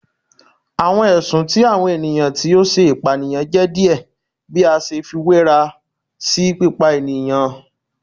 Awọn ẹsun ti awọn eniyan ti o ṣe ipaniyan jẹ diẹ bi a ṣe fiwera si pipa eniyan